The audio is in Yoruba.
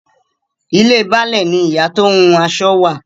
Ilé Baálẹ̀ ni ìyá tó ń hun aṣọ wà.